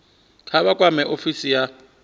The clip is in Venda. kha vha kwame ofisi ya